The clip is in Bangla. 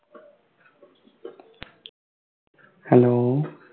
Hello